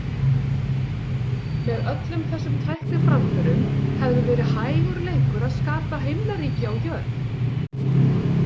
Með öllum þessum tækniframförum hefði verið hægur leikur að skapa himnaríki á jörð.